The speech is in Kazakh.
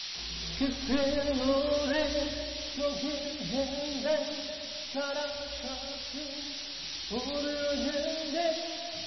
қызыл өрік төгілгендей қара шашың өрілгендей